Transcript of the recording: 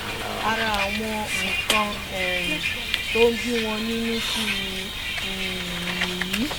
ara àwọn nǹkan um tó ń bí wọn nínú sí mi um nìyí